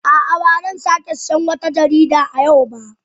A'a, ba zan sake sayen wata jarida a yau ba